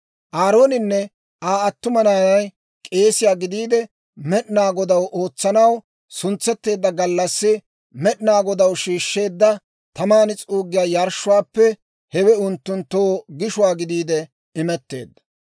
Aarooninne Aa attuma naanay K'eesiyaa gidiide, Med'inaa Godaw ootsanaw suntsetteedda gallassi Med'inaa Godaw shiishsheedda taman s'uuggiyaa yarshshuwaappe hewe unttunttoo gishuwaa gidiide imetteedda.